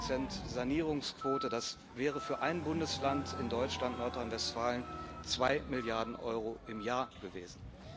3 Sanierungsquote, das wären für ein Bundesland in Deutschland, Nordrhein Westfalen, 2 Milliarden Euro im Jahr gewesen.